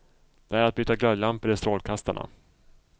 Det är att byta glödlampor i strålkastarna.